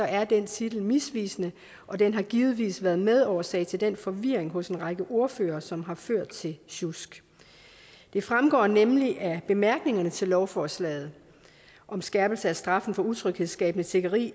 er den titel misvisende og den har givetvis været medårsag til den forvirring hos en række ordførere som har ført til sjusk det fremgår nemlig af bemærkningerne til lovforslaget om skærpelse af straffen for utryghedsskabende tiggeri